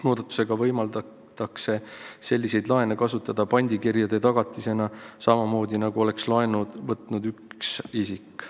Muudatusega võimaldatakse selliseid laene kasutada pandikirjade tagatisena samamoodi, nagu oleks laenu võtnud üks isik.